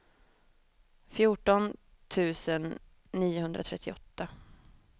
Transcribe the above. fjorton tusen niohundratrettioåtta